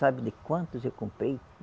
Sabe de quantos eu comprei?